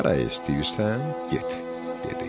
Haraya istəyirsən, get, dedi.